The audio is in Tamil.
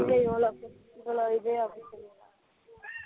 இவளோ இது